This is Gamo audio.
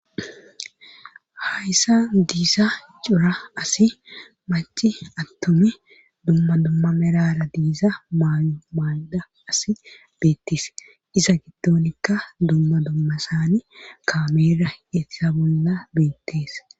hayssa diisa cura asi maci attomi dumma dumma merara diiza mayo maay7da asi beettis iza giddonikka dumma dumma saani kaameera yetsa bolla beettees